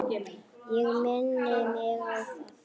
Ég minni mig á það.